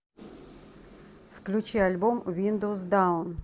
включи альбом виндоус даун